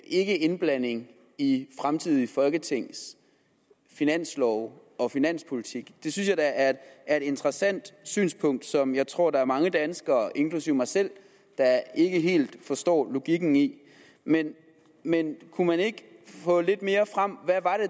ikke indblanding i fremtidige folketings finanslove og finanspolitik det synes jeg da er et interessant synspunkt som jeg tror at der er mange danskere inklusive mig selv der ikke helt forstår logikken i men men kunne man ikke få lidt mere frem